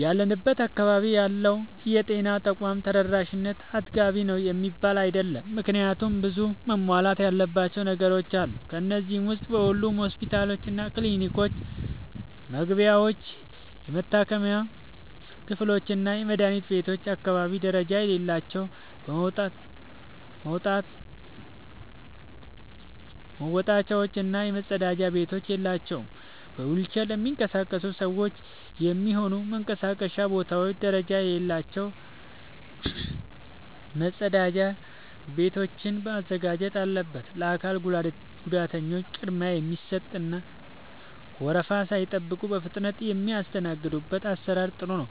ያለንበት አካባቢ ያለው የጤና ተቋም ተደራሽነት አጥጋቢ ነው የሚባል አይደለም። ምክንያቱም ብዙ መሟላት ያለባቸው ነገሮች አሉ። ከነዚህ ዉስጥ በሁሉም ሆስፒታሎችና ክሊኒኮች መግቢያዎች፣ የመታከሚያ ክፍሎችና የመድኃኒት ቤቶች አካባቢ ደረጃ የሌላቸው መወጣጫዎች እና መጸዳጃ ቤቶች የላቸውም። በዊልቸር ለሚንቀሳቀሱ ሰዎች የሚሆኑ መንቀሳቀሻ ቦታዎች ደረጃ የሌላቸው መጸዳጃ ቤቶችን ማዘጋጀት አለበት። ለአካል ጉዳተኞች ቅድሚያ የሚሰጥ እና ወረፋ ሳይጠብቁ በፍጥነት የሚስተናገዱበት አሰራር ጥሩ ነው።